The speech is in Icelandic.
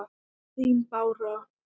Þín Bára.